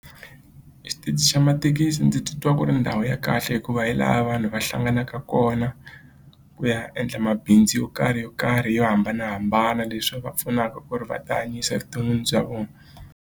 Xitichi xa mathekisi ndzi titwa ku ri ndhawu ya kahle hikuva hi laha vanhu va hlanganaka kona ku ya endla mabindzu yo karhi yo karhi yo hambanahambana leswi va pfunaka ku ri va tihanyisa evuton'wini bya vona.